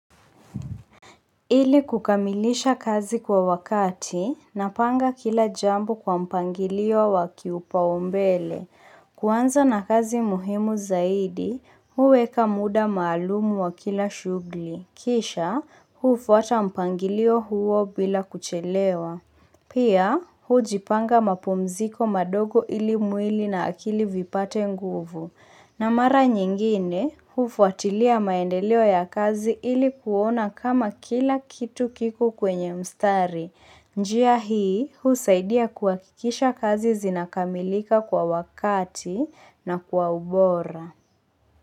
Ili kukamilisha kazi kwa wakati napanga kila jambo kwa mpangilio wa kiupaumbele. Kuanza na kazi muhimu zaidi, huweka muda maalumu wa kila shughuli. Kisha, hufuata mpangilio huo bila kuchelewa. Pia, hujipanga mapumziko madogo ili mwili na akili vipate nguvu. Na mara nyingine, hufuatilia maendeleo ya kazi ili kuona kama kila kitu kiko kwenye mstari. Njia hii, husaidia kuhakikisha kazi zinakamilika kwa wakati na kwa ubora.